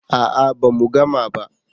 a'a ba mu gama ba